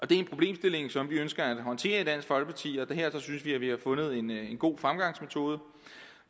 det er en problemstilling som vi ønsker at håndtere i dansk folkeparti og her synes vi at vi har fundet en god fremgangsmetode